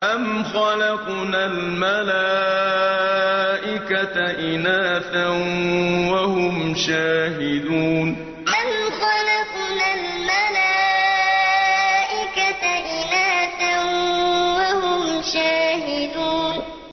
أَمْ خَلَقْنَا الْمَلَائِكَةَ إِنَاثًا وَهُمْ شَاهِدُونَ أَمْ خَلَقْنَا الْمَلَائِكَةَ إِنَاثًا وَهُمْ شَاهِدُونَ